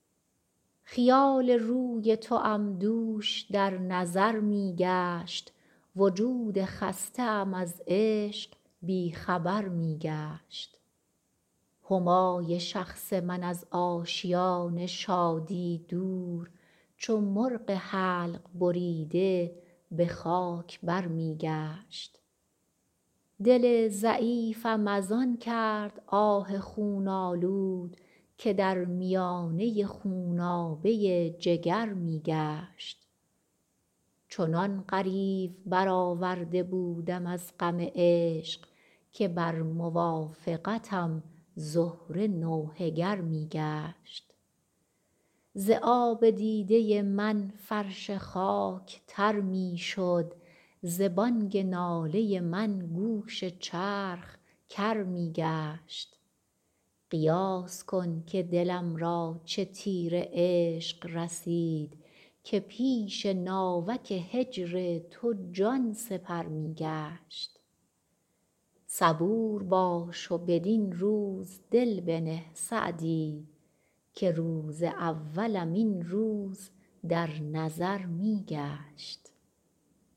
خیال روی توام دوش در نظر می گشت وجود خسته ام از عشق بی خبر می گشت همای شخص من از آشیان شادی دور چو مرغ حلق بریده به خاک بر می گشت دل ضعیفم از آن کرد آه خون آلود که در میانه خونابه جگر می گشت چنان غریو برآورده بودم از غم عشق که بر موافقتم زهره نوحه گر می گشت ز آب دیده من فرش خاک تر می شد ز بانگ ناله من گوش چرخ کر می گشت قیاس کن که دلم را چه تیر عشق رسید که پیش ناوک هجر تو جان سپر می گشت صبور باش و بدین روز دل بنه سعدی که روز اولم این روز در نظر می گشت